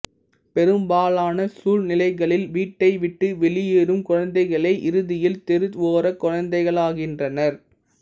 பெரும்பாலான சூழ்நிலைகளில் வீட்டைவிட்டு வெளியேறும் குழந்தைகளே இறுதியில் தெருவோரக் குழந்தைகளாகின்றனர்